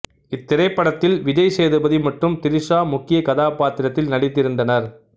இத்திரைப்படத்தில் விஜய் சேதுபதி மற்றும் திரிசா முக்கியக் கதாப்பாத்திரத்தில் நடித்திருந்தனர்